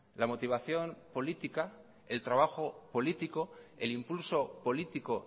la motivación política el trabajo político el impulso político